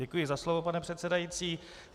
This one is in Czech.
Děkuji za slovo, pane předsedající.